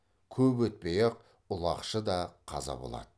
көп өтпей ақ ұлақшы да қаза болады